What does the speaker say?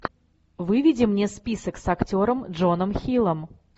выведи мне список с актером джоном хиллом